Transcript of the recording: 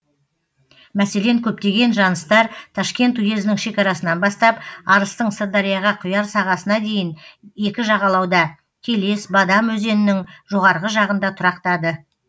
мәселен көптеген жаныстар ташкент уезінің шекарасынан бастап арыстың сырдарияға құяр сағасына дейін екі жағалауда келес бадам өзенінің жоғарғы жағында тұрақтады